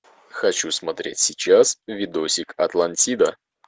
хочу смотреть сейчас видосик атлантида